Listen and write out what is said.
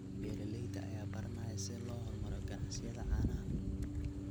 Beeralayda ayaa baranaya sida loo horumariyo ganacsiyada caanaha.